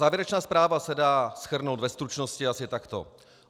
Závěrečná zpráva se dá shrnout ve stručnosti asi takto.